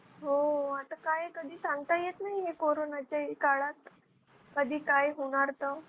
हो आता काय कधी सांगता येत नाही कोरोनाच्या काळात, कधी काय होणार तर.